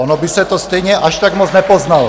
Ono by se to stejně až tak moc nepoznalo.